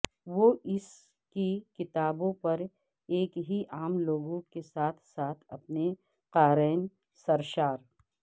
وہ اس کی کتابوں پر ایک ہی عام لوگوں کے ساتھ ساتھ اپنے قارئین سرشار